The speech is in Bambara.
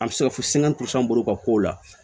An bɛ se ka fɔ sɛgɛn bolo ka kow la